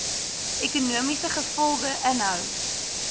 ekonomiese gevolge inhou